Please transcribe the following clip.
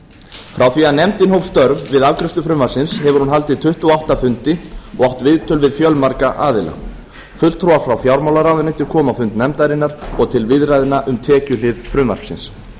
frá því að nefndin hóf störf við afgreiðslu frumvarpsins hefur hún haldið tuttugu og átta fundi og átt viðtöl við fjölmarga aðila fulltrúar frá fjármálaráðuneyti komu á fund nefndarinnar og til viðræðna um tekjuhlið frumvarpsins